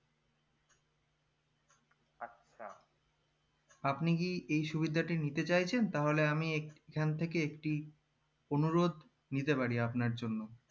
আপনি কি এই সুবিধাটি নিতে চাইছেন তাহলে আমি এখন থেকে একটি অনুরোধ নিতে পারি আপনার জন্য